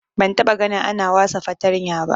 Ban taba gani ana wasa fartanya ba